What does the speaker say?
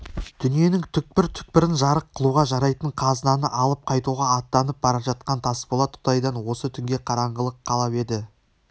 дүниенің түкпір-түкпірін жарық қылуға жарайтын қазынаны алып қайтуға аттанып бара жатқан тасболат құдайдан осы түнге қараңғылық қалап еді